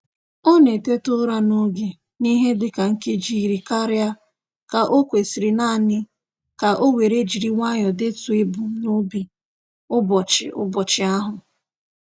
Ọ na-eteta ụra n'oge n'ihe dịka nkeji iri karịa ka o kwesịrị naanị ka o were jiri nwayọ detuo ebumnobi ụbọchị ụbọchị ahụ.